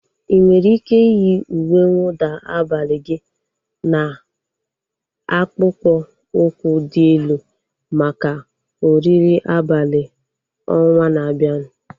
Ị nwere ike iyi uwe nwụda abalị gị na akpụkpọ ụkwụ dị elu maka oriri abalị ọnwaa na-abianu